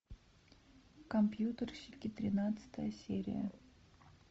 компьютерщики тринадцатая серия